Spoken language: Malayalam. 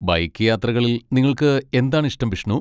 ബൈക്ക് യാത്രകളിൽ നിങ്ങൾക്ക് എന്താണ് ഇഷ്ടം, ബിഷ്ണു?